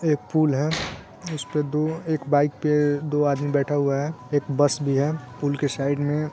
एक पूल है जिस पे दो एक बाइक पे दो आदमी बैठा हुआ है एक बस भी है पूल के साइड में